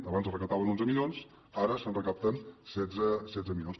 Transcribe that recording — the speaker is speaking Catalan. abans es recaptaven onze milions ara se’n recapten setze milions